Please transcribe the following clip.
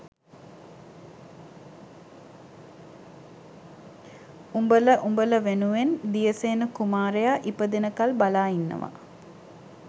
උඹල උඹල වෙනුවෙන් දියසේන කුමාරයා ඉපදෙනකල් බලා ඉන්නවා